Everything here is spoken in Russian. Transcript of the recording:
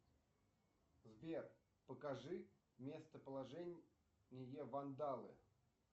сбер покажи местоположение вандалы